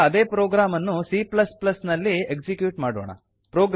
ಈಗ ಇದೇ ಪ್ರೊಗ್ರಾಮ್ ಅನ್ನು c ನಲ್ಲಿ ಎಕ್ಸಿಕ್ಯೂಟ್ ಮಾಡೋಣ